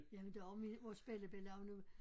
Jamen det er også min vores bellibelli er nu